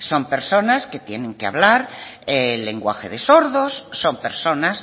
son personas que tienen que hablar lenguaje de sordos son personas